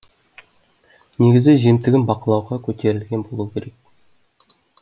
негізі жемтігін бақылауға көтерілген болуы керек